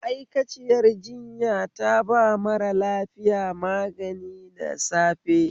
Ma; aikaciyar jinya taba mara lafiya magani da safe